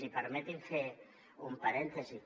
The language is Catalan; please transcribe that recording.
i permeti’m fer un parèntesi